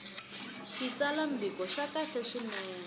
xitsalwambiko xa kahle swinene no